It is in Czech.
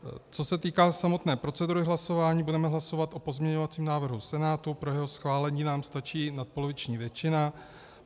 Co se týká samotné procedury hlasování, budeme hlasovat o pozměňovacím návrhu Senátu, pro jeho schválení nám stačí nadpoloviční většina.